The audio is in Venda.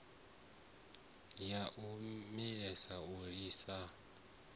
a ya malisoni u lisa